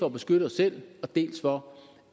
at beskytte os selv dels for